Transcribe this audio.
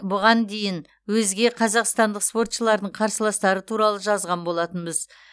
бұған дейін өзге қазақстандық спортшылардың қарсыластары туралы жазған болатынбыз